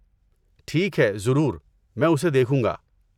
ٹھیک ہے، ضرور۔ میں اسے دیکھوں گا۔